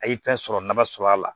A' ye fɛn sɔrɔ nafa sɔrɔ a la